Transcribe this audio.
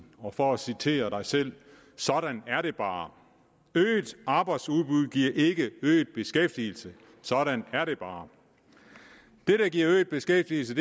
og for at citere dig selv sådan er det bare øget arbejdsudbud giver ikke øget beskæftigelse sådan er det bare det der giver øget beskæftigelse